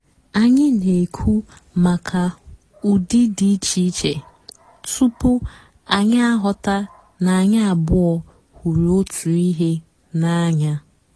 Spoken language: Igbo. ányị́ nà-èkwú màkà ụ́dị́ dị́ ìchè ìchè túpú ànyị́ àghọ́tá nà ànyị́ àbụ́ọ́ hụ́rụ́ ótú ị́hé n'ànyá.